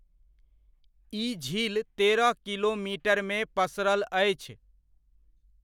ई झील तेरह किलोमीटरमे पसरल अछि।